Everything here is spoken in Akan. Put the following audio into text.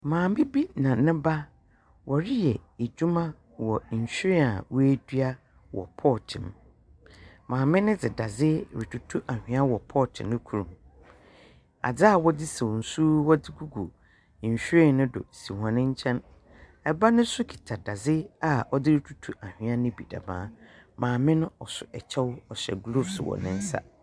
Maame bi na ne ba wɔreyɛ adwuma wɔ nhwee a w'adua wɔ pɔt mu maame ne de dade retutu anua wɔ pɔt ne koro adze a wɔdze saw nsu wɔdze gugu nhwee ne do si wɔnne nkyen ɛba nenso keta dadze a wɔdze retutu anua ne bi demaa maame no ɔso ɛkyew ɔhyɛw glofs wɔ nensa.